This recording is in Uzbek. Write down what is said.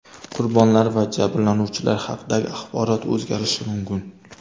Qurbonlar va jabrlanuvchilar haqidagi axborot o‘zgarishi mumkin.